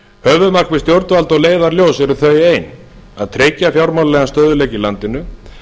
höfuðmarkmið stjórnvalda og leiðarljós eru þau ein að tryggja fjármálalegan stöðugleika í landinu